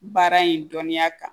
Baara in dɔnniya kan